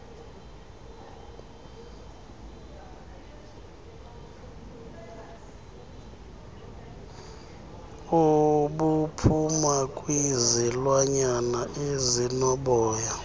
obuphuma kwizilwanyana ezinoboya